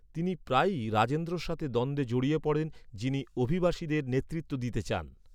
তিনি প্রায়ই রাজেন্দ্রর সাথে দ্বন্দ্বে জড়িয়ে পড়েন, যিনি অভিবাসীদের নেতৃত্ব দিতে চান।